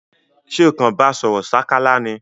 Sé kan ba sòrò sákálá ni?